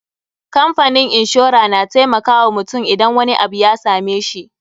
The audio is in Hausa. Kamfanin inshora na taimakawa mutum idan wani abu ya same shi.